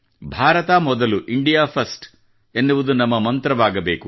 ಭಾರತ ಮೊದಲು India first ಎನ್ನುವುದು ನಮ್ಮ ಮಂತ್ರವಾಗಬೇಕು